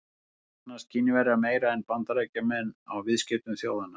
Hagnast Kínverjar meira en Bandaríkjamenn á viðskiptum þjóðanna?